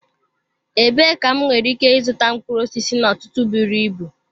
Ebee ka m nwere ike ịzụta mkpụrụ osisi n'ọtụtụ buru ibu?